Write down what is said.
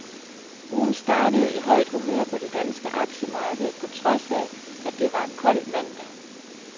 Ugen startede i højt humør på det danske aktiemarked på trods af, at det var en kold mandag.